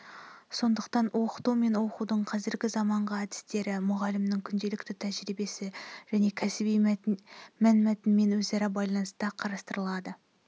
сондықтан оқыту мен оқудың қазіргі заманғы әдістері мұғалімнің күнделікті тәжірибесі және кәсіби мәнмәтінмен өзара байланыста қарастырылады